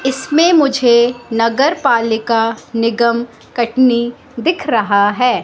इसमें मुझे नगर पालिका निगम कटनी दिख रहा है।